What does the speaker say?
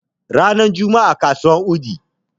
ranar Juma'a kasuwar wudii